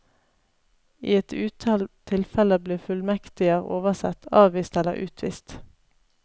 I et utall tilfeller blir fullmektiger oversett, avvist eller utvist.